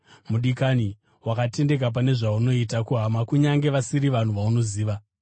Mudikani, wakatendeka pane zvaunoita kuhama, kunyange vasiri vanhu vaunoziva.